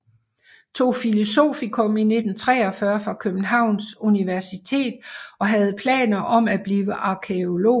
Tog filosofikum 1943 fra Københavns Universitet og havde planer om at blive arkæolog